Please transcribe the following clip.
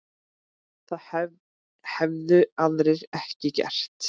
Það hefðu aðrir ekki gert